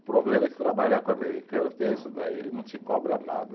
O problema é que trabalhar com americano tem isso daí, ele não te cobra nada.